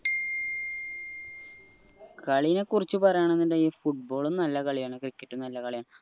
കളിനെ കുറിച്ച പറയാണിന്നിണ്ടേൽ football ഉം നല്ല കളിയാണ് cricket ഉം നല്ല കളിയാണ്